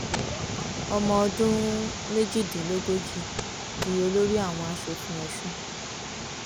ọmọọdún méjìdínlógójì di olórí àwọn asòfin ọsùn